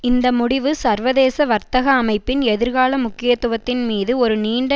இந்த முடிவு சர்வதேச வர்த்தக அமைப்பின் எதிர்கால முக்கியத்துவத்தின் மீது ஒரு நீண்ட